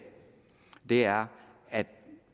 er at